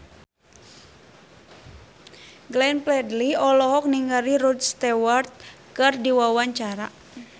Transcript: Glenn Fredly olohok ningali Rod Stewart keur diwawancara